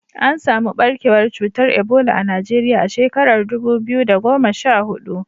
An samu ɓarkewar cutar Ebola a Najeriya a shekarar dubu biyu da goma sha hudu.